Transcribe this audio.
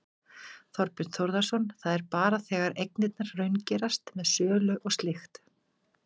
Þorbjörn Þórðarson: Það er bara þegar eignirnar raungerast með sölu og slíkt?